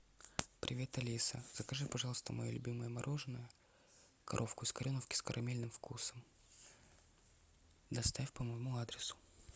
привет алиса закажи пожалуйста мое любимое мороженое коровку из кореновки с карамельным вкусом доставь по моему адресу